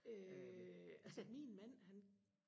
øh altså min mand han